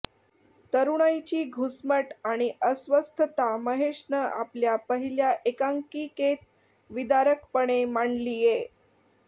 तरुणाईची घुसमट आणि अस्वस्थता महेशनं आपल्या पहिल्या एकांकिकेत विदारकपणे मांडलीये